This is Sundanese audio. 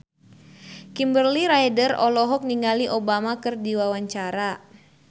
Kimberly Ryder olohok ningali Obama keur diwawancara